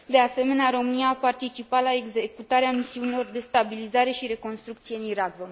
De asemenea, România a participat la executarea misiunilor de stabilizare și reconstrucție în Irak.